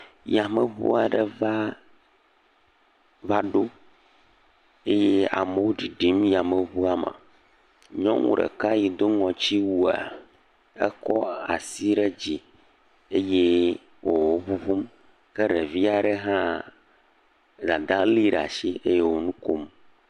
Yameŋua ɖe va vaɖo eye amo ɖiɖim yameŋua me, nyɔŋu ɖeka yi do ŋɔtsiwua, ekɔ ashi ɖe dzi eye wòŋuŋm, ke ɖevia ɖe hã, dada lée ɖe asi eye wò nu kom.